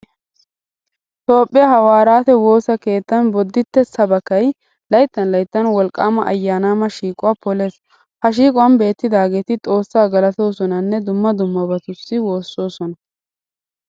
Toophphiya hawwaaraate woosa keettan bodditte sabakay layttan layttan wolqqaama ayyaanaama shiiquwa polees. Ha shiiquwan beettidaageeti xoossaa galatoosonanne dumma dummabatussi woossoosona.